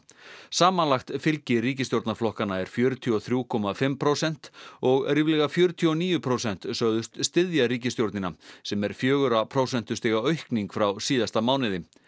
samanlagt fylgi ríkisstjórnarflokkanna er fjörutíu og þrjú komma fimm prósent og ríflega fjörutíu og níu prósent sögðust styðja ríkisstjórnina sem er fjögurra prósentustiga aukning frá síðasta mánuði